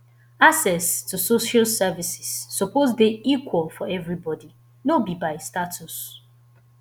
access to social services suppose dey equal for everybody no be by status